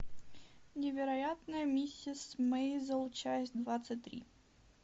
невероятная миссис мейзел часть двадцать три